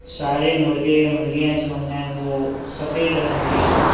सारे मुर्गें मुर्गियां जो हैं वो सफेद रंग के हैं।